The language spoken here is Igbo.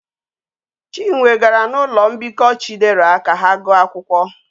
Chinwe gara na ulo mbiko chidera ka ha guo akwukwo